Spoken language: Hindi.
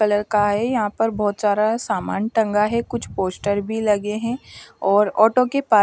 कलर का है यहां पर बहोत सारा सामान टंगा है कुछ पोस्टर भी लगे हैं और ऑटो के पा--